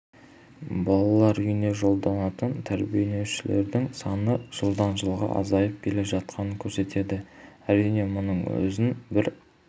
балалар үйіне жолданатын тәрбиеленушілердің саны жылдан жылға азайып келе жатқанын көрсетеді әрине мұның өзін бір